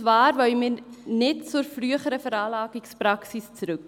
Wir wollen nämlich nicht zur früheren Anlagepraxis zurück.